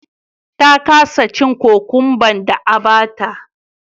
ta kasa cin cucumba da a bata